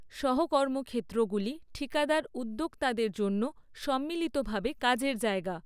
সহ কর্মক্ষেত্রগুলি ঠিকাদার উদ্যোক্তাদের জন্য সম্মিলিতভাবে কাজের জায়গা।